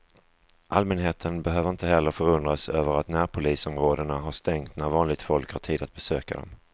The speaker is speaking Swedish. Allmänheten behöver inte heller förundras över att närpolisområdena har stängt när vanligt folk har tid att besöka dem.